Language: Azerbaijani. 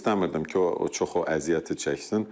İstəmirdim ki, o çox o əziyyəti çəksin.